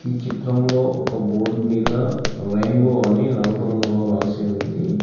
చిత్రంలో ఒక బోర్డు మీద రెయిన్బో అని నలుపు రంగులో రాసి ఉంది.